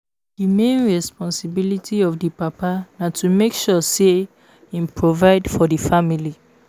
Di main responsibility of di papa na to make sure sey im provide for di family